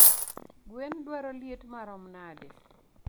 Gwen dwaro liet marom nade?